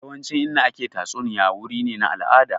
Yawancin Inda ake tatsuniya wuri ne na al'ada